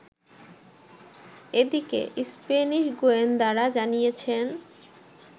এদিকে, স্প্যানিশ গোয়েন্দারা জানিয়েছেন